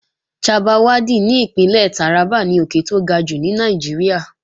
Chabbal Waddi ní Ìpínlẹ̀ Tàrábà ni òkè tó ga jùlọ ní Nàìjíríà